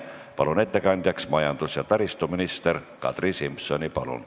Palun ettekandjaks majandus- ja taristuminister Kadri Simsoni!